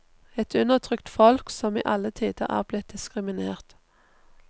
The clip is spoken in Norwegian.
Et undertrykt folk som i alle tider er blitt diskriminert.